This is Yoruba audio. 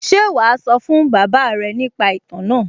Ṣé wàá sọ fún bàbá rẹ̀ nípa ìtàn náà?